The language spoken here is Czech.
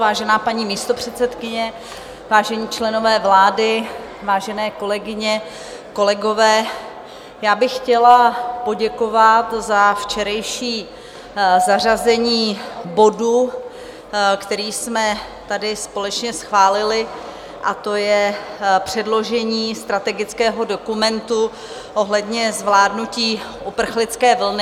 Vážená paní místopředsedkyně, vážení členové vlády, vážené kolegyně, kolegové, já bych chtěla poděkovat za včerejší zařazení bodu, který jsme tady společně schválili, a to je předložení strategického dokumentu ohledně zvládnutí uprchlické vlny.